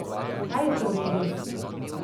Kaj je torej res?